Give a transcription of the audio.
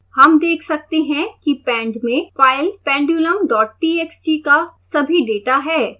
हम देख सकते हैं कि pend में फाइल pendulumtxt का सभी डेटा है